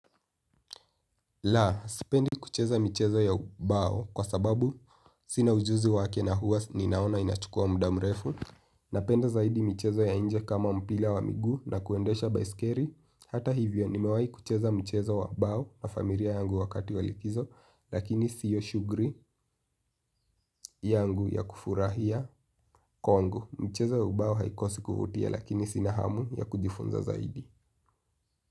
La, sipendi kucheza michezo ya ubao, kwa sababu sina ujuzi wake na huwa ninaona inachukua mda mrefu. Napenda zaidi michezo ya inje kama mpila wa miguu na kuendesha baiskeri. Hata hivyo nimewahi kucheza mchezo wa bao na familia yangu wakati walikizo, rakini siyo shugri yangu ya kufurahia. Kwangu. Mchezo ya ubao haikosi kuvutia lakini sina hamu ya kujifunza zaidi.